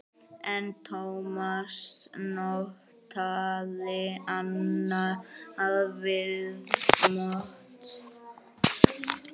En Tómas notaði annað viðmót.